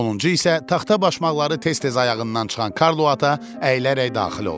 Sonuncu isə taxta başmaqları tez-tez ayağından çıxan Karlo ata əyilərək daxil oldu.